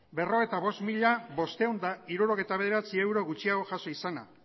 berrogeita bost mila bostehun eta hirurogeita bederatzi euro gutxiago jaso izana